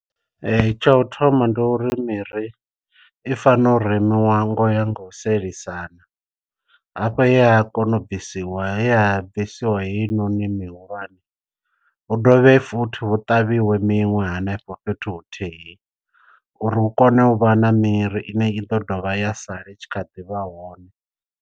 Tsha u thoma ndi uri miri i fanela u remiwa ngo ya nga u sielisana, hafho he ha kona u bvisiwa he ya bvisiwa heinoni mihulwane. Hu dovhe futhi hu ṱavhiwe miṅwe hanefho fhethu huthihi uri hu kone u vha na miri ine i ḓo dovha ya sala i tshi kha ḓi vha hone.